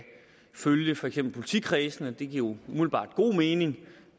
følge for eksempel politikredsene det giver jo umiddelbart god mening